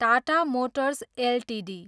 Tata Motors Ltd